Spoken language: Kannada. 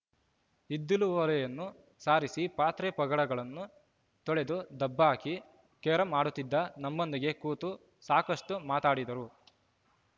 ಇದ್ದಿಲು ಒಲೆಯನ್ನೂ ಸಾರಿಸಿ ಪಾತ್ರೆಪಗಡಗಳನ್ನು ತೊಳೆದು ದಬ್ಹಾಕಿ ಕೇರಂ ಆಡುತ್ತಿದ್ದ ನಮ್ಮೊಂದಿಗೂ ಕೂತು ಸಾಕಷ್ಟುಮಾತಾಡಿದರು